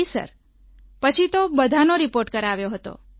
જી સરપછી તો બધાનો રિપોર્ટ કરાવ્યો હતો